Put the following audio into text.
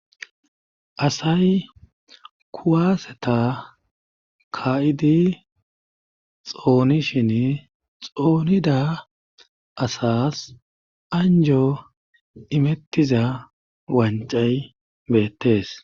asay kuwaseta ka7idi xoonishin xoonida asas anjo imettiza wancay bettes